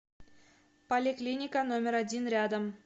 поликлиника номер один рядом